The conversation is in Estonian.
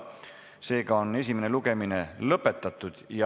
Seega on esimene lugemine lõpetatud.